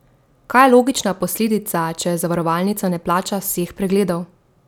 Kaj je logična posledica, če zavarovalnica ne plača vseh pregledov?